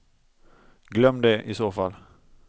Glöm det, i så fall.